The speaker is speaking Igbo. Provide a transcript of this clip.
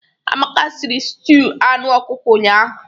Amaka siri stuụ anụ ọkụkọ ụnyahụ.